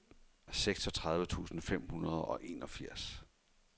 seksogtredive tusind fem hundrede og enogfirs